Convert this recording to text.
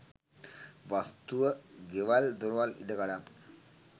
වස්තුව ගෙවල් දොරවල් ඉඩ කඩම්.